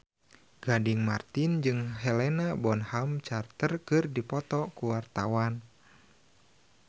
Gading Marten jeung Helena Bonham Carter keur dipoto ku wartawan